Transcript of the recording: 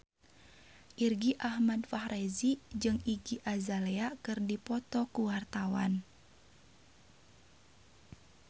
Irgi Ahmad Fahrezi jeung Iggy Azalea keur dipoto ku wartawan